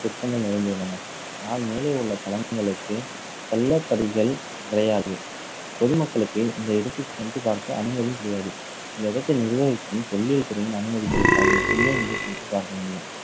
சிற்பங்கள் நிறைந்துள்ளன அஹ் மேலே உள்ள தளங்களுக்கு, பொதுமக்களுக்கு இந்த இடத்தில் சென்று பார்க்க அனுமதி கிடையாது. இந்த இடத்தை நிர்வகிக்கும் தொல்லியல் துறையின் அனுமதி கிடைத்தால் மட்டுமே இங்கு சென்று பார்க்க முடியும்